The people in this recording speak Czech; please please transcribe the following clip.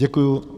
Děkuji.